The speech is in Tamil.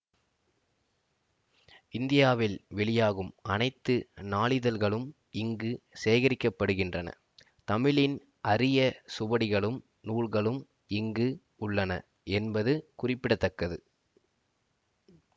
இந்தியாவில் வெளியாகும் அனைத்து நாளிதழ்களும் இங்கு சேகரிக்கப்படுகின்றன தமிழின் அரிய சுவடிகளும் நூல்களும் இங்கு உள்ளன என்பது குறிப்பிட தக்கது